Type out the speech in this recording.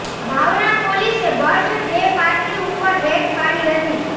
બાવળા પોલીસે birthday party ઉપર raid પાડી હતી